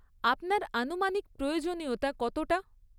আপনার আনুমানিক প্রয়োজনীয়তা কতটা?